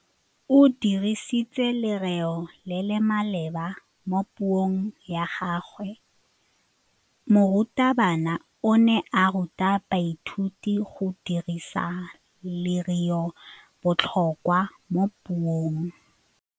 O dirisitse lerêo le le maleba mo puông ya gagwe. Morutabana o ne a ruta baithuti go dirisa lêrêôbotlhôkwa mo puong.